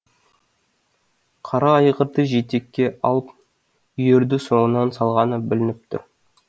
қара айғырды жетекке алып үйірді соңынан салғаны білініп тұр